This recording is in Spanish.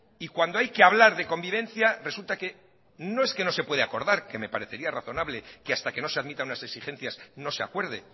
y cuando hay que hablar de convivencia resulta que no es que no se puede acordar que me parecería razonable que hasta que no se admita unas exigencias no se acuerde